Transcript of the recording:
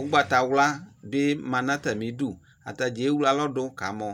ugbatawla be na no atame du Ataa dza ewle alɔ do ka mɔ